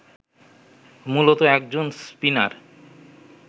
মূলতঃ একজন স্পিনার